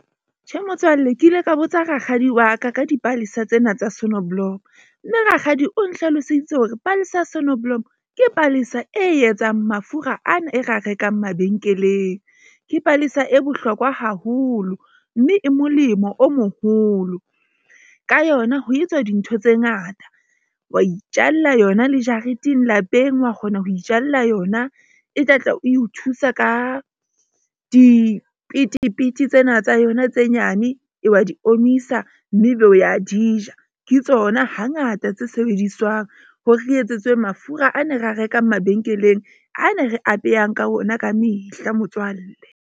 Tjhe, motswalle ke ile ka botsa rakgadi wa ka ka dipalesa tsena tsa sonneblom. Mme Rakgadi o nhlaloseditse hore palesa sonoblomo ke palesa e etsang mafura ana e ra rekang mabenkeleng. Ke palesa e bohlokwa haholo mme e molemo o moholo ka yona ho etswa dintho tse ngata. Wa itjalla yona le jareteng lapeng wa kgona ho itjalla yona e tla tla e o thusa ka dipetepete tsena tsa yona. Tse nyane e wa di omisa, mme ebe o ya di ja. Ke tsona hangata tse sebediswang hore re etsetswe mafura a ne ra rekang mabenkeleng A ne re abehang ka ona ka mehla motswalle.